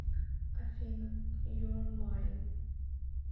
афина юа майн